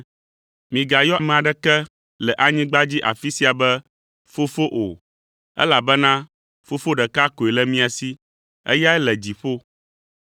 Migayɔ ame aɖeke le anyigba dzi afi sia be ‘fofo’ o, elabena ‘Fofo’ ɖeka koe le mia si, eyae le dziƒo.